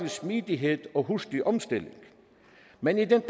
smidighed og hurtig omstilling men i den